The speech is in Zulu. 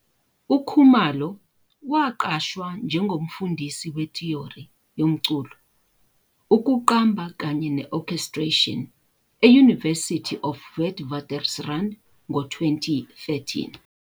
UKhumalo waqashwa njengomfundisi wethiyori yomculo, ukuqamba kanye ne-orchestration e-University of Witwatersrand ngo-2013.